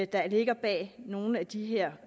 der ligger bag nogle af de her